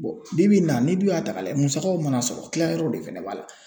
bi bi in na n'i dun y'a ta k'a lajɛ musakaw mana sɔrɔ kilayɔrɔ de fɛnɛ b'a la.